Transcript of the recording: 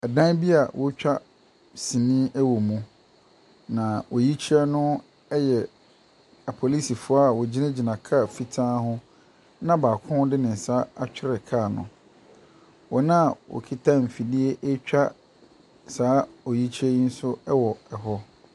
Dan bi a wɔretwa sinii wɔ mu, na oyikyerɛ a yɛ apolisifoɔ a wɔgyinagyina kaa fitaa ho na baako de ne nsa atwere kaa no. Wɔn a wɔkita mfidie ɛretwa saa oyikerɛ yi nso wɔ hɔ.